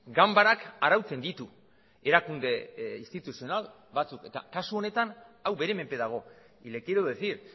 ganbarak arautzen ditu erakunde instituzional batzuk eta kasu honetan hau bere menpe dago y le quiero decir